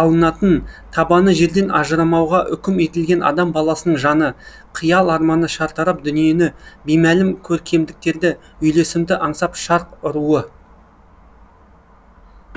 алыналатын табаны жерден ажырамауға үкім етілген адам баласының жаны қиял арманы шартарап дүниені беймәлім көркемдіктерді үйлесімді аңсап шарқ ұруы